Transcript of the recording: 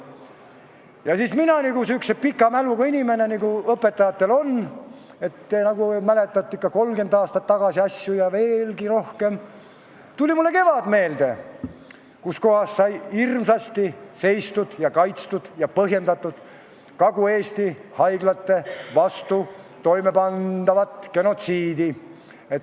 Ja siis minule, sihukesele pika mäluga inimesele, nagu õpetajatel ikka on, et mäletatakse 30 aastat tagasi ja veelgi rohkem aega tagasi toimunud asju, tuli meelde kevad, kui sai hirmsasti kaitstud ja põhjendatud Kagu-Eesti haiglate vastu toimepandavat genotsiidi.